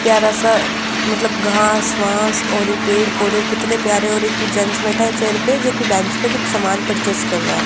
प्यारा सा मतलब घास वास और यह पेड़ पौधे कितने प्यारे और एक जेंट्स बैठे है चेयर पे जो की बेंच पे कुछ सामान परचेस कर रहा है।